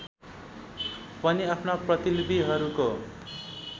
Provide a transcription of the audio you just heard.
पनि आफ्ना प्रतिलिपिहरूको